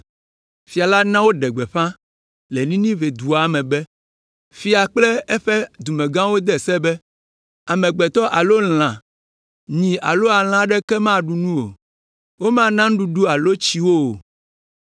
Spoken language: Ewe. Fia la na woɖe gbeƒã le Ninive dua me be: “Fia kple eƒe dumegãwo de se be: “Amegbetɔ alo lã, nyi alo alẽ aɖeke maɖu nu o. Womana nuɖuɖu alo tsi wo o.